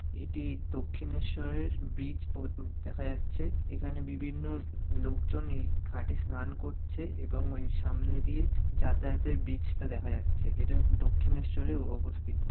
এটি দক্ষিণেশ্বরের ব্রিজ পোত্উউ দেখা যাচ্ছে এখানে বিভিন্ন লোকজন এই ঘাঁটে স্নান করছে এবং ওই সামনে দিয়ে যাতায়াতের ব্রিজ টা দেখা যাচ্ছে এটা দক্ষিণেশ্বরে ও ওও অবস্থিত।